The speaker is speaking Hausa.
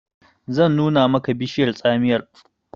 zan nuna maka bishiyar tsamiyar!